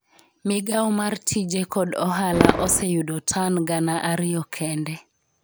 migawo mar tije kod ohala oseyudo tan gana ariyo kende